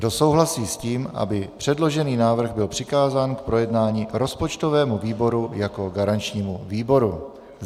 Kdo souhlasí s tím, aby předložený návrh byl přikázán k projednání rozpočtovému výboru jako garančnímu výboru?